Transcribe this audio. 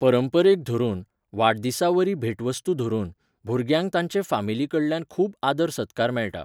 परंपरेक धरून, वाडदिसा वरी भेटवस्तू धरून, भुरग्यांक तांचे फामिली कडल्यान खूब आदर सत्कार मेळटा.